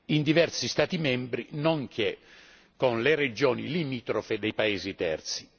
in diversi Stati membri, nonché con le regioni limitrofe dei paesi terzi.